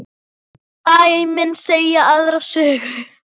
Dæmin segja aðra sögu.